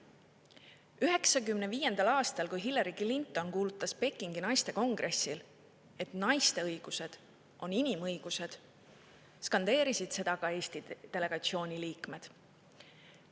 1995. aastal, kui Hillary Clinton kuulutas Pekingis naiste kongressil, et naiste õigused on inimõigused, skandeerisid seda ka Eesti delegatsiooni liikmed.